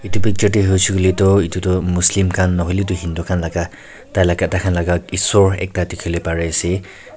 etu picture dae huishae kulae tho etu tho muslim kan nahoilae tu hindu kan laka tai laka tai kan laka esor ekta tikilae bari ase.